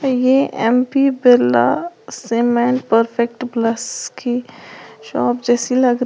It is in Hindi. और ये M P Birla cement perfect plus की शॉप जैसी लग रही--